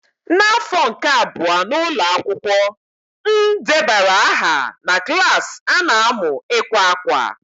N'afọ nke abụọ n'ụlọ akwụkwọ, m debara aha na klas a na-amu ịkwa akwa.